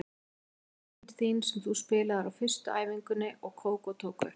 Þetta eru lögin þín sem þú spilaðir á fyrstu æfingunni og Kókó tók upp.